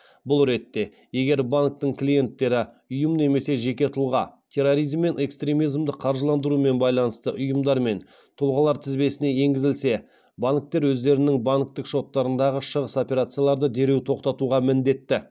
бұл ретте егер банктің клиенттері ұйым немесе жеке тұлға терроризм мен экстремизмді қаржыландырумен байланысты ұйымдар мен тұлғалар тізбесіне енгізілсе банктер өздерінің банктік шоттарындағы шығыс операцияларды дереу тоқтатуға міндетті